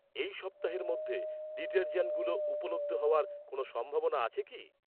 এই সপ্তাহের মধ্যে, ডিটারজেন্টগুলো উপলব্ধ হওয়ার কোনও সম্ভাবনা আছে কি?